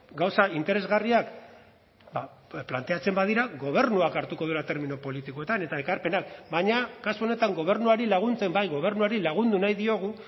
gauza interesgarriak planteatzen badira gobernuak hartuko duela termino politikoetan eta ekarpenak baina kasu honetan gobernuari laguntzen bai gobernuari lagundu nahi diogu